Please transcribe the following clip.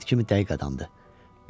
Saat kimi dəqiq adamdır.